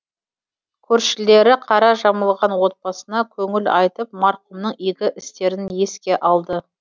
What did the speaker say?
көршілері қара жамылған отбасына көңіл айтып марқұмның игі істерін еске алды